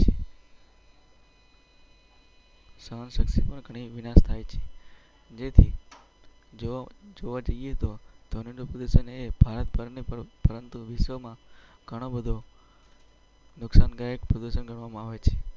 જો જો. પરંતુ વિશ્વમાં ગાયક પ્રદર્શન કરવામાં આવે છે.